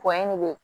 ne bɛ